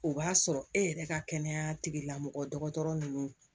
O b'a sɔrɔ e yɛrɛ ka kɛnɛya tigilamɔgɔ dɔgɔtɔrɔ ninnu